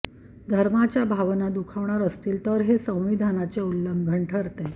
धर्माच्या भावना दुखावणार असतील तर हे संविधानाचे उल्लंघन ठरते